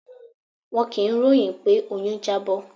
Wọn kì í ròhìn pé oyún Jábó.